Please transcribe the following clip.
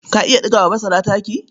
Ka iya ɗiga wa masara taki?